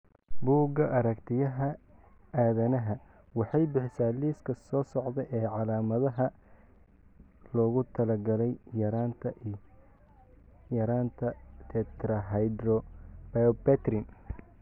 Bugga aragtiyaha aanadanaha waxay bixisaa liiska soo socda ee calaamadaha iyo calaamadaha loogu talagalay yaraanta Tetrahydrobiopterin.